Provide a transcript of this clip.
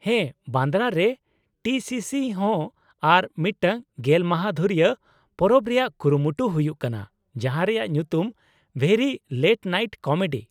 -ᱦᱮᱸ, ᱵᱟᱱᱫᱨᱟᱨᱮ T C C ᱦᱚᱸ ᱟᱨ ᱢᱤᱫᱴᱟᱝ ᱜᱮᱞ ᱢᱟᱦᱟ ᱫᱷᱩᱨᱤᱭᱟᱹ ᱯᱚᱨᱚᱵ ᱨᱮᱭᱟᱜ ᱠᱩᱨᱩᱢᱩᱴᱩ ᱦᱩᱭᱩᱜ ᱠᱟᱱᱟ ᱡᱟᱦᱟᱸ ᱨᱮᱭᱟᱜ ᱧᱩᱛᱩᱢ 'ᱵᱷᱮᱨᱤ ᱞᱮᱴ ᱱᱟᱭᱤᱴ ᱠᱚᱢᱮᱰᱤ' ᱾